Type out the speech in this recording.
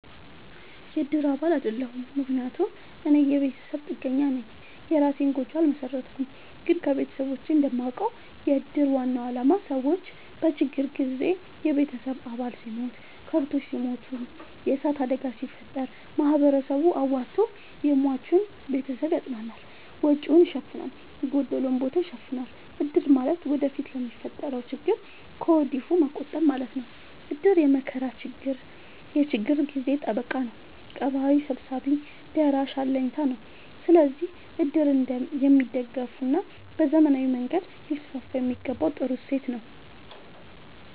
የእድር አባል አይደለሁም። ምክንያቱም እኔ የቤተሰብ ጥገኛነኝ የእራሴን ጎጆ አልመሠረትኩም። ግን ከቤተሰቦቼ እንደማውቀው። የእድር ዋናው አላማ ሰዎች በችግር ጊዜ የቤተሰብ አባል ሲሞት፤ ከብቶች ሲሞቱ፤ የዕሳት አደጋ ሲፈጠር፤ ማህበረሰቡ አዋቶ የሟችን ቤተሰብ ያፅናናል፤ ወጪወቹን ይሸፋናል፤ የጎደለውን ቦታ ይሸፋናል። እድር ማለት ወደፊት ለሚፈጠረው ችግር ከወዲሁ መቆጠብ ማለት ነው። እድር የመከራ የችግር ጊዜ ጠበቃ ነው። ቀባሪ ሰብሳቢ ደራሽ አለኝታ ነው። ስለዚህ እድር የሚደገፋና በዘመናዊ መንገድ ሊስስፋየሚገባው ጥሩ እሴት ነው።